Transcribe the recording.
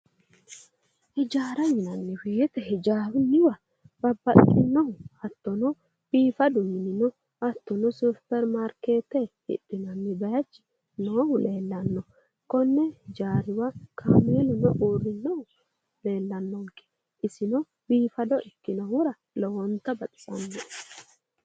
Hijaara yinanni woyite hijaarunniwa babbaxxinnohu hattono biifadu minino hattono supperimaarkeette hidhinanni bayichi noohu leellanno. Konni hijaariwa kaameeluno uurrinnohu leellanno. Isino biifado ikkitinohura lowonta baxisanno.